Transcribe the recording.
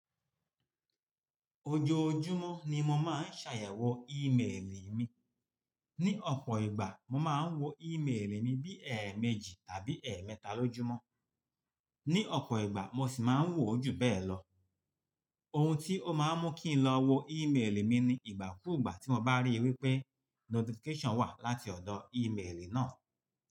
Ojoojúmọ́ ni mo máa ń ṣàyẹ̀wò ímeèlì mi. Ni ọ̀pọ̀ ìgbà mo máa ń wo ímeèlì mi bí ẹ̀ẹ̀méjì tàbí ẹ̀ẹ̀mẹ́ta lójúmọ́. Ni ọ̀pọ̀ ìgbà mo sì máa ń wò ó jù bẹ́ẹ̀ lọ. Ohun tí ó máa ń mú kí n lọ wo ímeèlì mi ni ìgbàkúùgbà tí mo bá rí i wípé notification wà láti ọ̀dọ̀ ímeèlì náà.